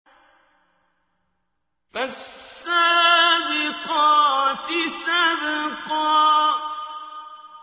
فَالسَّابِقَاتِ سَبْقًا